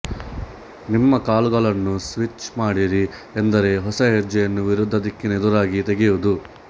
ನಿಮ್ಮ ಕಾಲುಗಳನ್ನು ಸ್ವಿಚ್ ಮಾಡಿರಿ ಎಂದರೆ ಹೊಸ ಹೆಜ್ಜೆಯನ್ನು ವಿರುದ್ಧ ದಿಕ್ಕಿನ ಎದುರಾಗಿ ತೆಗೆಯುವುದು